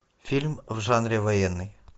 фильм в жанре военный